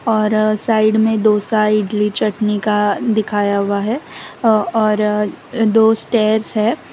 और साइड मे डोसा इडली चटनी का दिखाया हुआ है औ और दो स्टेयर्स है।